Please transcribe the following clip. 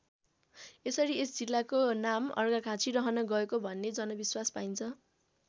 यसरी यस जिल्लाको नाम अर्घाखाँची रहन गएको भन्ने जनविश्वास पाइन्छ।